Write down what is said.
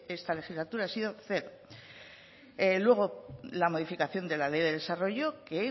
esta legislatura ha sido cero luego la modificación de la ley de desarrollo que